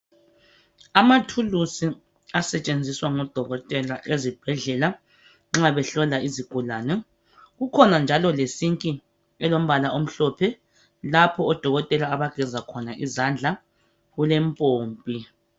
Amathulusi asetshenziswa ngodokotela ezibhedlela nxa behlola izigulane. Kukhona njalo lesinki elombala omhlophe lapho odokotela abageza khona izandla, kulempompi.